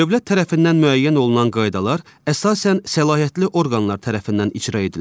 Dövlət tərəfindən müəyyən olunan qaydalar əsasən səlahiyyətli orqanlar tərəfindən icra edilir.